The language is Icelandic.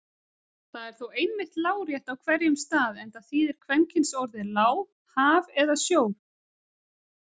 Það er þó einmitt lárétt á hverjum stað enda þýðir kvenkynsorðið lá haf eða sjór.